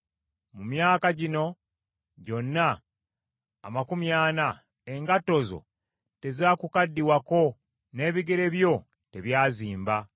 Mu myaka gino gyonna amakumi ana, engatto zo tezaakukaddiwako n’ebigere byo tebyazimba.